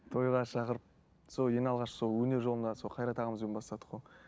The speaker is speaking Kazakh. тойға шақырып сол ең алғаш сол өнер жолына сол қайрат ағамызбен бастадық қой